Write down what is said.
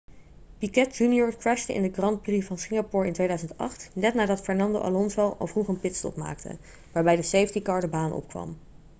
piquet jr crashte in de grand prix van singapore in 2008 net nadat fernando alonso al vroeg een pitstop maakte waarbij de safety car de baan opkwam